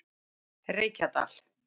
Reykjadal